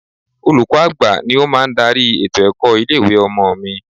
Olùkọ́ àgbà ni ó máa ń darí ètò ẹ̀kọ́ ilé ìwé ọmọ mi.